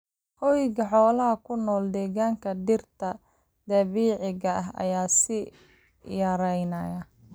Hoyga xoolaha ku nool deegaanka dhirta dabiiciga ah ayaa sii yaraanaya.